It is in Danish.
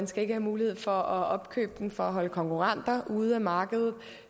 skal have mulighed for at opkøbe den for at holde konkurrenter ude af markedet